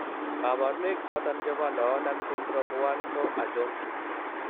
kabarunaik choton chebo Noonan syndrome 1 ko achon ?